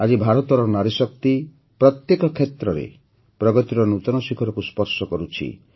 ଆଜି ଭାରତର ନାରୀଶକ୍ତି ପ୍ରତ୍ୟେକ କ୍ଷେତ୍ରରେ ପ୍ରଗତିର ନୂତନ ଶିଖରକୁ ସ୍ପର୍ଶ କରୁଛି